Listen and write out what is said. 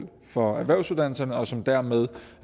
for erhvervsuddannelserne og som dermed